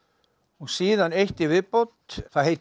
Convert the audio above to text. síðan eitt í viðbót það heitir